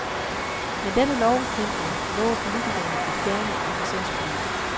Men denne lovforhindring lover politikerne at fjerne i licensforliget.